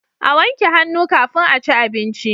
A wanke hannu kafin aci abinci